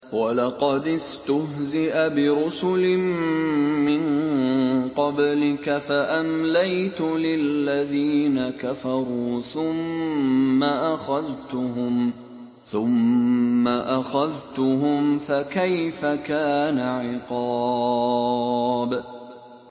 وَلَقَدِ اسْتُهْزِئَ بِرُسُلٍ مِّن قَبْلِكَ فَأَمْلَيْتُ لِلَّذِينَ كَفَرُوا ثُمَّ أَخَذْتُهُمْ ۖ فَكَيْفَ كَانَ عِقَابِ